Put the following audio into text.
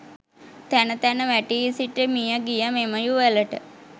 තැන තැන වැටී සිටි මිය ගිය මෙම යුවලට